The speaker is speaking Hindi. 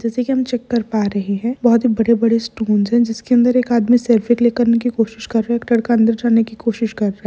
जैसे कि हम चेक कर पा रहे है बहुत ही बड़े-बड़े स्टोन्स है जिसके अंदर एक आदमी सेल्फी क्लिक करने की कोशिश कर रहे एक लड़का अंदर जाने की कोशिश कर रहे।